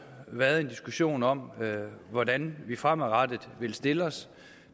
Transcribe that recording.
været en diskussion om hvordan vi fremover vil stille os